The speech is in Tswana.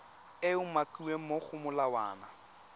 e umakiwang mo go molawana